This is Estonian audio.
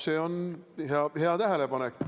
See on hea tähelepanek.